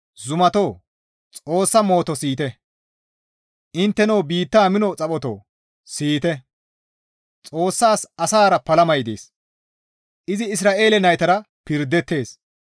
Zumatoo! Xoossa mooto siyite; Intteno biitta mino xaphotoo siyite; Xoossas asara palamay dees; izi Isra7eele naytara pirdeettes.